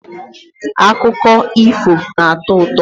Akụkọ ifo na-atọ ụtọ.